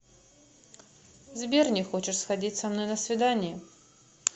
сбер не хочешь сходить со мной на свидание